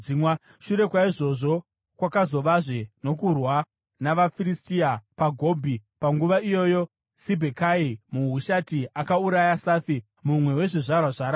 Shure kwaizvozvo, kwakavazve nokurwa navaFiristia, paGobhi. Panguva iyoyo Sibhekai muHushati akauraya Safi, mumwe wezvizvarwa zvaRafa.